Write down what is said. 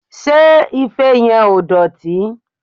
Ṣé ife yẹn ò dọ̀tí?